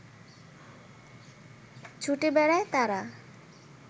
ছুটে বেড়ায় তারা